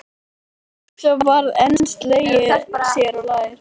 Og svo var enn slegið sér á lær.